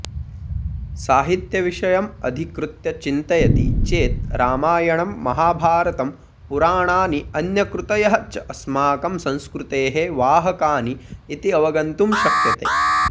साहित्यविषयमधिकृत्य चिन्तयति चेत् रामायणं महाभारतं पुराणानि अन्यकृतयःच अस्माकं संस्कृतेः वाहकानि इति अवगन्तुं शक्यते